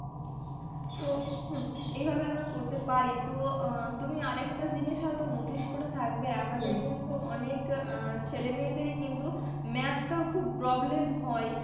তো হুম এইভাবে আমরা করতে পারি. তো অ্যাঁ তুমি আর একটা জিনিস হয়তো notice করে থাকবে আমাদের কিন্তু অনেক অ্যাঁ ছেলে মেয়েদেরই কিন্তু math টাও খুব problem হয়.